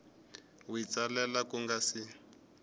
wi tsalela ku nga si